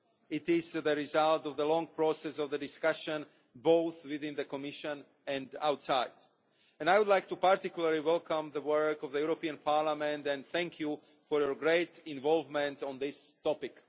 It is the result of a long process of discussion both within the Commission and outside. I would like particularly to welcome the work of the European Parliament and to thank you for your great involvement in this topic.